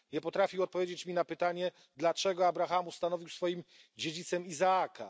Nie potrafił odpowiedzieć mi na pytanie, dlaczego Abraham ustanowił swoim dziedzicem Izaaka.